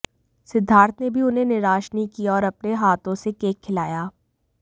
सिद्धार्थ ने भी उन्हें निराश नहीं किया और अपने हाथों से केक खिलाया